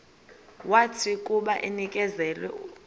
wathi akuba enikezelwe